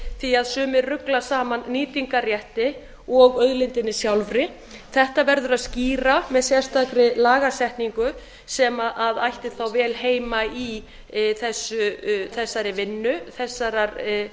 því sumir rugla saman nýtingarrétti og auðlindinni sjálfri þetta verður að skýra með sérstakri lagasetningu sem ætti þá vel heima í þessari vinnu þessarar